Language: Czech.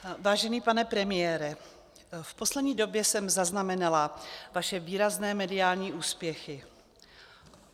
Vážený pane premiére, v poslední době jsem zaznamenala vaše výrazné mediální úspěchy.